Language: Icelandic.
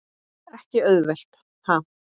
Ekki auðvelt ha?